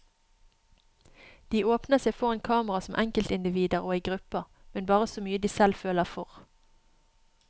De åpner seg foran kamera som enkeltindivider og i grupper, men bare så mye de selv føler for.